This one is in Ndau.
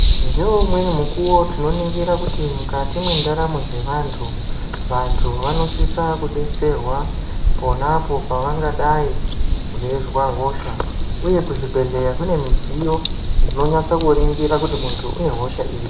Ngaumwe mukuwo tino ningira kuti mukati mwendaramo dzavantu vantu vanosisa kudetserwa pona apo pangadai veizwa hosha uye kuzvibhedhlera kunemidziyo dzinonyatso kuringira kuti muntu une hosha iri.